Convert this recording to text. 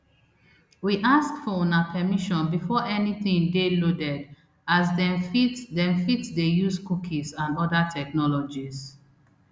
we ask for una permission before anytin dey loaded as dem fit dem fit dey use cookies and oda technologies